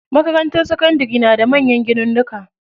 Makarantar sakandari na da manyan ginunnuka.